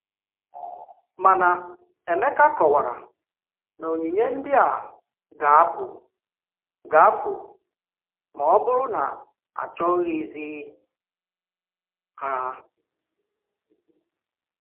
Mànà Émèkà kọ̀wárà na ònyìnye ndí a gà-apụ̀ gà-apụ̀ ma ọ̀ bụrụ́ na a chọghịzi ha.